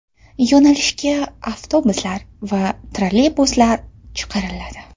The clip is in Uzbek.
Yo‘nalishga avtobuslar va trolleybuslar chiqariladi.